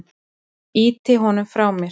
Ýti honum frá mér.